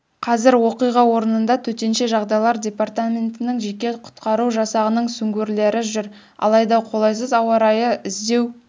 қазір оқиға орнында төтенше жағдайлар департаментінің жеке құтқару жасағының сүңгуірлері жүр алайда қолайсыз ауа райы іздеу